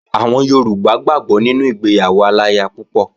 Àwọn Yorùbá gbàgbó nínú ìgbéyàwó aláya púpọ̀